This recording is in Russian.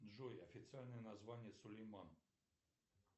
джой официальное название сулейман